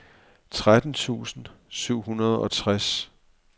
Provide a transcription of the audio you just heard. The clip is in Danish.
tretten tusind syv hundrede og tres